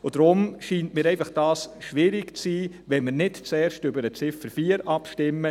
Deshalb scheint es mir einfach schwierig zu sein, hierzu Ja zu sagen, wenn wir nicht zuerst über die Ziffer 4 abstimmen.